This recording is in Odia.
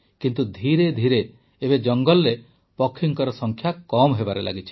କିନ୍ତୁ ଧୀରେ ଧୀରେ ଏବେ ଜଙ୍ଗଲରେ ପକ୍ଷୀଙ୍କ ସଂଖ୍ୟା କମ୍ ହେବାରେ ଲାଗିଛି